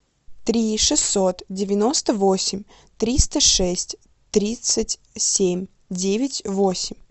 три шестьсот девяносто восемь триста шесть тридцать семь девять восемь